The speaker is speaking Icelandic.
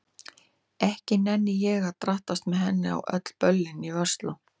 Ekki nenni ég að drattast með henni á öll böllin í Versló.